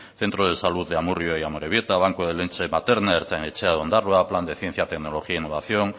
centro de salud de amurrio y amorebieta banco de leche materna ertzain etxea de ondarroa plan de ciencia tecnología e innovación